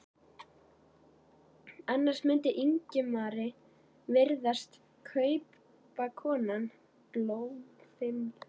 Annars mundi Ingimari virðast kaupakonan bólfimleg.